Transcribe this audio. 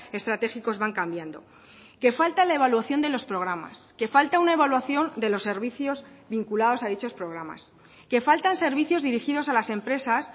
estratégicos van cambiando que falta la evaluación de los programas que falta una evaluación de los servicios vinculados a dichos programas que faltan servicios dirigidos a las empresas